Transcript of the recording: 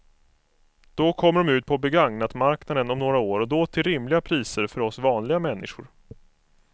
Då kommer de ut på begagnatmarknaden om några år och då till rimliga priser för oss vanliga människor.